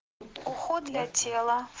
уход для тела